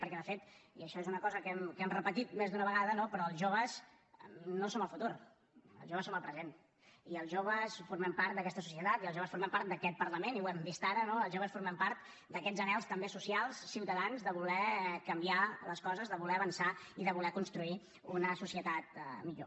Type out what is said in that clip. perquè de fet i això és una cosa que hem repetit més d’una vegada els joves no som el futur els joves som el present i els joves formem part d’aquesta societat i els joves formem part d’aquest parlament i ho hem vist ara no els joves formem part d’aquests anhels també socials ciutadans de voler canviar les coses de voler avançar i de voler construir una societat millor